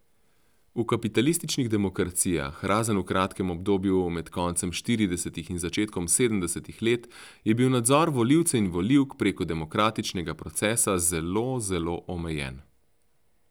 V kapitalističnih demokracijah, razen v kratkem obdobju med koncem štiridesetih in začetkom sedemdesetih let, je bil nadzor volivcev in volivk preko demokratičnega procesa zelo, zelo omejen.